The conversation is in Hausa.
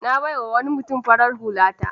Na bai wa wani mutum farar hulata.